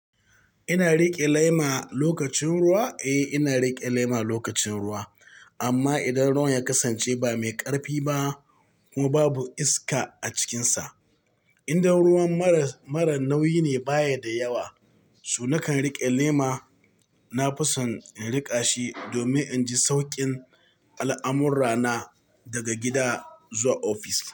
Ina riƙe lema lokacin ruwa? Eh, ina riƙe lema lokacin ruwa. Amma idan ruwan ya kasance ba mai ƙarfi ba kuma babu iska a cikinsa. Idan ruwan mara, mara nauyi ne baya da yawa, so nakan riƙe lema. Na fi son in riƙa shi domin in ji sauƙin al'amurrana daga gida zuwa ofis.